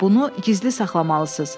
amma bunu gizli saxlamalısız.